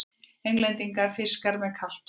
Englendingar: fiskar með kalt blóð!